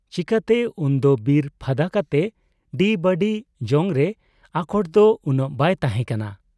ᱪᱮᱠᱟᱛᱮ ᱩᱱᱫᱚ ᱵᱤᱨ ᱯᱷᱟᱫᱟ ᱠᱟᱛᱮ ᱰᱤᱵᱟᱹᱲᱤ ᱡᱚᱝᱨᱮ ᱟᱠᱚᱴᱫᱚ ᱩᱱᱟᱹᱜ ᱵᱟᱭ ᱛᱟᱦᱮᱸ ᱠᱟᱱᱟ ᱾